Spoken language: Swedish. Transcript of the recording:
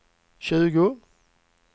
tjugo